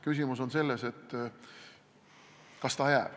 Küsimus on selles, kas ikka jääb.